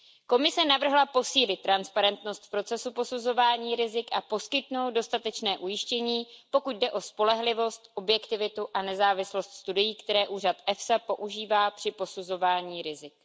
Komise navrhla posílit transparentnost procesu posuzování rizik a poskytnout dostatečné ujištění, pokud jde o spolehlivost, objektivitu a nezávislost studií, které úřad EFSA používá při posuzování rizik.